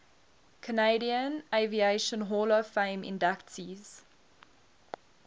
canadian aviation hall of fame inductees